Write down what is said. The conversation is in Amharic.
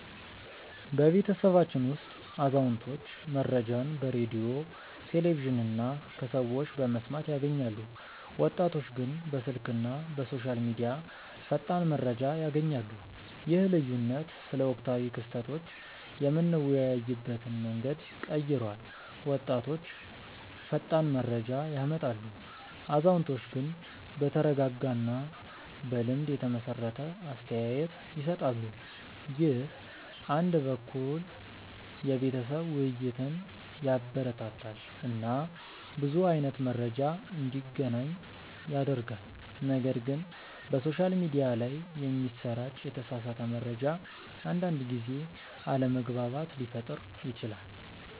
በቤተሰባችን ውስጥ አዛውንቶች መረጃን በሬዲዮ፣ ቴሌቪዥን እና ከሰዎች በመስማት ያገኛሉ፣ ወጣቶች ግን በስልክ እና በሶሻል ሚዲያ ፈጣን መረጃ ያገኛሉ። ይህ ልዩነት ስለ ወቅታዊ ክስተቶች የምንወያይበትን መንገድ ቀይሯል፤ ወጣቶች ፈጣን መረጃ ያመጣሉ፣ አዛውንቶች ግን በተረጋጋ እና በልምድ የተመሰረተ አስተያየት ይሰጣሉ። ይህ አንድ በኩል የቤተሰብ ውይይትን ያበረታታል እና ብዙ አይነት መረጃ እንዲገናኝ ያደርጋል፣ ነገር ግን በሶሻል ሚዲያ ላይ የሚሰራጭ የተሳሳተ መረጃ አንዳንድ ጊዜ አለመግባባት ሊፈጥር ይችላል